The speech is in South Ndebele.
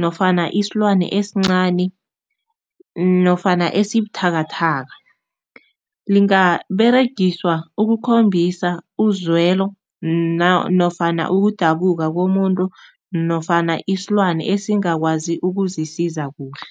nofana isilwana esincani nofana esibuthakathaka. Lingaberegiswa ukukhombisa uzwelo nofana ukudabuka komuntu nofana isilwane esingakwazi ukuzisiza kuhle.